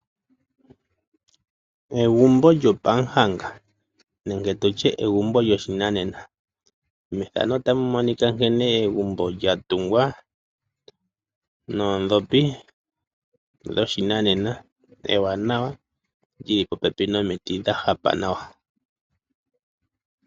Egumbo lyo pahanga nenge tutye egumbo lyoshinanena, egumbo lyatungwa nodhopi dhoshinanena ewanawa lyili popepi nomiti dhahapa nawa.